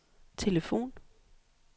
telefon